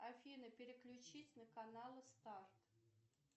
афина переключись на каналы старт